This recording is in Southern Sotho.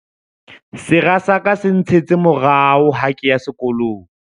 Sera sa ka se ntshetse morao ha ke ya sekolong.